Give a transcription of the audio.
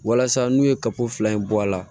Walasa n'u ye kaba fila in bɔ a la